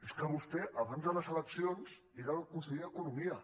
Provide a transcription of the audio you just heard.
és que vostè abans de les eleccions era el conseller d’economia